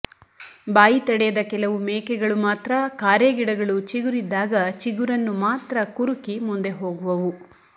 ಬಾಯಿ ತಡೆಯದ ಕೆಲವು ಮೇಕೆಗಳು ಮಾತ್ರ ಕಾರೆಗಿಡಗಳು ಚಿಗುರಿದ್ದಾಗ ಚಿಗುರನ್ನು ಮಾತ್ರ ಕುರುಕಿ ಮುಂದೆ ಹೋಗುವವು